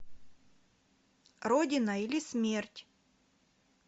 родина или смерть